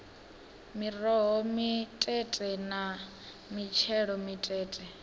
miroho mitete na mitshelo mitete